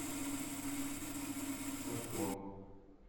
садко